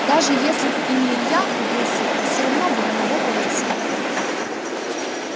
даже если б и не илья убил суку все равно бы на него повесили